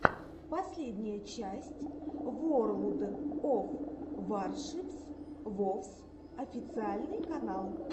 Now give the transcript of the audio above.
последняя часть ворлд оф варшипс вовс официальный канал